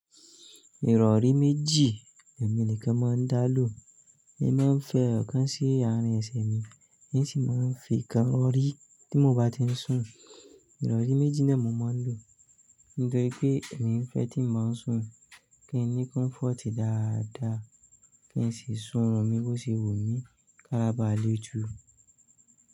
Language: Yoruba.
Ìrọ̀rí méjì, èmi nìkan mọ́ ń dá lò. Èmi máa ń fi ẹyọ̀kan sí àárín ẹsẹ̀ mi, ì ń sì máa ń fi ọ̀kan rọ̀rí tí mo bá ti ń sùn. Ìrọ̀rí méjì náà mo máa ń lò nítorí pé èmi ń fẹ́ tí mo ń sùn kí n ní kọ́mfọ̀tì dáadáa kí n sì sun run mi bó ṣe wù mí kára bá à le ju.